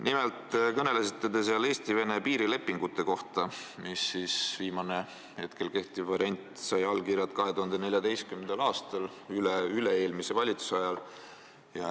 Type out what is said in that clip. Nimelt kõnelesite te seal Eesti-Vene piirilepingust, mille viimane, praegu kehtiv variant sai allkirjad 2014. aastal, üleüle-eelmise valitsuse ajal.